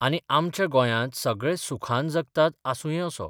आनी आमच्या गोंयांत सगळे सुखान जगतात आसुंये असो